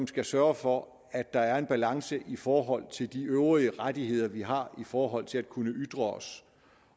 skal sørge for at der er en balance i forhold til de øvrige rettigheder vi har i forhold til at kunne ytre os